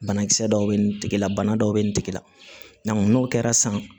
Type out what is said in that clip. Banakisɛ dɔw bɛ nin tigila bana dɔw bɛ nin tigi la n'o kɛra san